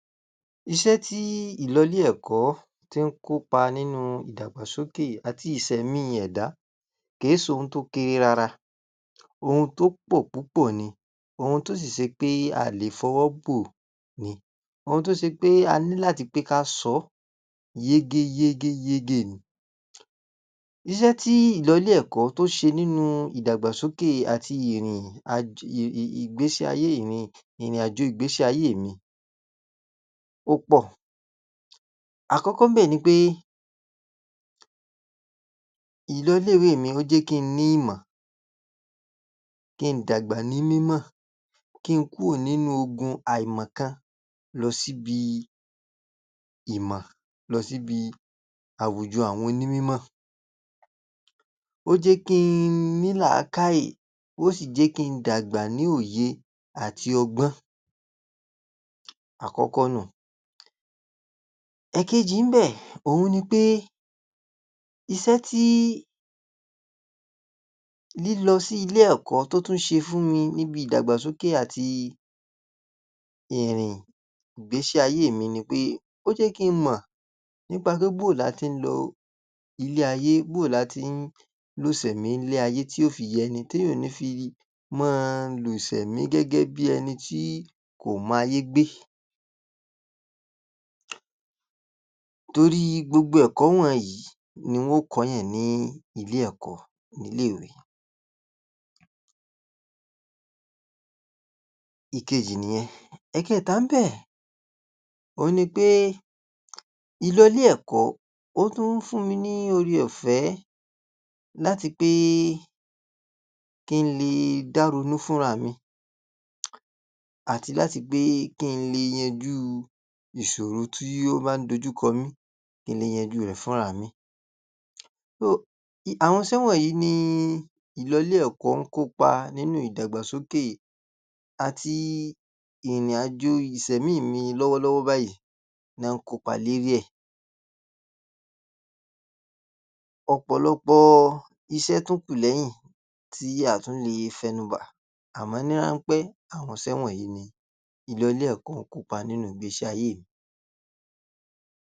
Iṣẹ́ tí ìlọlé-ẹ̀kọ́ tí ń kópa nípa ìdàgbàsókè àti ìsẹ̀mí ẹ̀dá kè é sohun tó kéré rárá. Ohun tó pọ̀ púpọ̀ ni, ohun tó sì se pé a à le fọwọ́ bò ni. Ohun tó se pé a ní láti pé ká sọ yégéyégéyégé ni. Iṣẹ́ tí ìlọlé-ẹ̀kọ́ tó ṣe nínú ìdàgbàsókè àti ìrìn-àj...ì...ì...ìgbésí ayé mi...ìrìn-àjò ìgbésí ayé mi ó pọ̀. Àkọ́kọ́ ńbẹ̀ ni pé ìlọlé-ìwé mi ó jé kí n ní ìmọ̀, kí n dàgbà ní mímọ̀, kí n kúò nínú ogun àìmọ̀kan lọ síbi ìmọ̀, lọ síbi àwùjọ àwọn onímímọ̀. Ó jẹ́ kí n ní làákàè, ó sì jẹ́ kí n dàgbà ní òye àti ọgbọ́n. Àkọ́kọ́ nú un. Ẹ̀kẹjì ńbẹ̀ òun ni ni pé iṣẹ́ tí lílọ sí ilé ẹ̀kọ́ tó tún ṣe fún mi níbi ìdàgbàsókè àti ìrìn ìgbésí ayé mi ni pé ó jẹ́ kí n mọ̀ nípa pé bóo là á tí n lo ilé ayé, bóo là á tí n lo ìsẹ̀mí ilé ayé tí ó fi yẹni téèyàn ò ní fi mọ́ ọn lò ìsẹ̀mí gẹ́gẹ́ bíi ẹni tí kò mayé gbé. Torí gbogbo ẹ̀kọ́ wọnǹyí ni wọn ó kọ́ọ̀yàn ní ilé ẹ̀kọ́ ilé ìwé. Ìkeèjì nìyẹn. Ẹ̀kẹta ńbẹ̀ òun ni pé ìlọlé-ẹ̀kọ́ ó ń fún mi ni oore ọ̀fẹ́ láti pé kí n le da ronú fúnra mi àti láti pé kí n le yanjú ìṣòro tí ó bá ń dójú kọ mi, kí n le yanjú rẹ̀ fúnra mi. ...Àwọn iṣẹ́ wọ̀nyí ni ìlọlé-ẹ̀kọ́ kópa nínú ìdàgbàsókè àti ìrìn-àjò ìsẹ̀mí mi lọ́wọ́lọ́wọ́ báyìí ná án n kópa lérí ẹ̀. Ọ̀pọ̀lọpọ̀ iṣẹ́ tó kù lẹ́yìn tí a à tún le fẹnu bà àmọ́ ní ráńpẹ́, àwọn iṣẹ́ wọ̀nyí ni ìlọlé-ẹ̀kọ́ kópa nínú ìgbésí ayé mi.